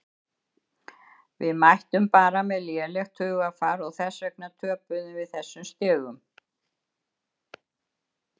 Við mættum bara með lélegt hugarfar og þess vegna töpuðum við þessum stigum.